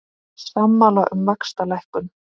Sammála um vaxtalækkun